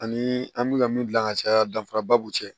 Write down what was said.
Ani an bɛna min gilan ka caya danfara ba b'u cɛ